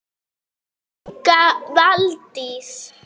Helga Valdís.